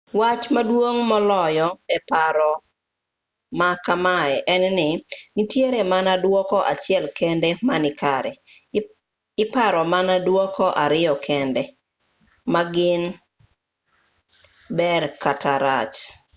wach maduong moloyo e paro ma kamae en ni nitiere mana duoko achiel kende ma nikare iparo mana duoko ariyo kende ma gin ber kata rach